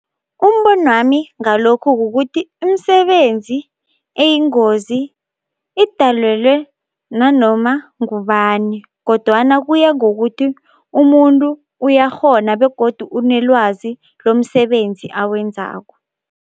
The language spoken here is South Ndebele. Umbonwami ngalokhu kukuthi imisebenzi eyingozi idalelwe nanoma ngubani kodwana kuya ngokuthi umuntu uyakghona begodu onelwazi lomsebenzi awenzako.